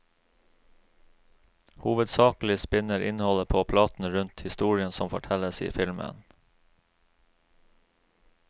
Hovedsakelig spinner innholdet på platen rundt historien som fortelles i filmen.